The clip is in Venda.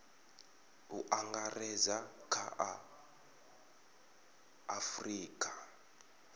u angaredza kha a afurika